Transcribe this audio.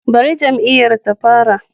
Bari jam'iyyar ta fara